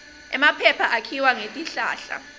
emaphepha akhiwa ngetihlahla